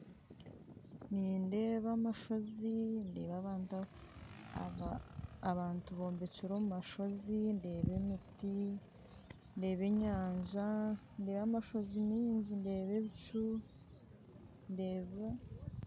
Nindeeba amashozi ,ndeeba abantu abombekire omumashozi, ndeeba emiti ndeeba enyanja ndeeba amashozi maingi, ndeeba ebicu ndeeba